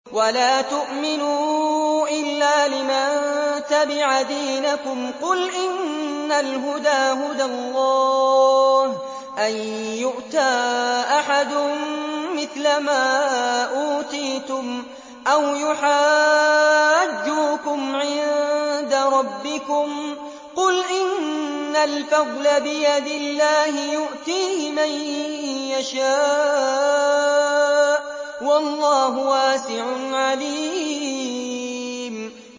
وَلَا تُؤْمِنُوا إِلَّا لِمَن تَبِعَ دِينَكُمْ قُلْ إِنَّ الْهُدَىٰ هُدَى اللَّهِ أَن يُؤْتَىٰ أَحَدٌ مِّثْلَ مَا أُوتِيتُمْ أَوْ يُحَاجُّوكُمْ عِندَ رَبِّكُمْ ۗ قُلْ إِنَّ الْفَضْلَ بِيَدِ اللَّهِ يُؤْتِيهِ مَن يَشَاءُ ۗ وَاللَّهُ وَاسِعٌ عَلِيمٌ